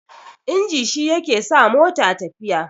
inji shi yake sa mota tafiya